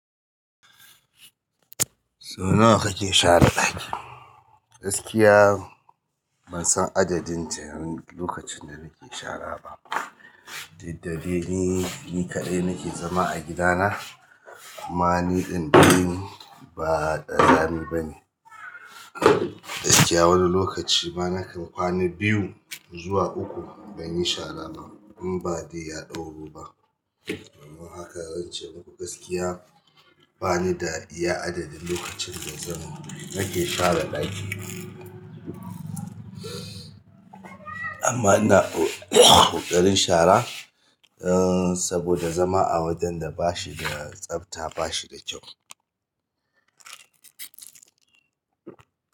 Sau nawa kake share ɗaki? Gaskiya ban san adadin ce lokacin da nake shara ba. Dukda de ni, ni kaɗai nake zama a gidana amma ni ɗin dai ba kazami ba ne. Gaskiya wani lokaci ma na kan kwana biyu zuwa uku ban yi shara ba in ba dai ya ɗauro ba. Amma haka zan ce muku gaskiya bani da iya adadin lokacin da zan ma nake share ɗaki. Amma ina ƙoƙarin shara, uh, saboda zama a wajen da ba shi da tsafta ba shi da kyau.